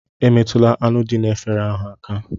Emetụla anụ dị n'efere ahụ aka!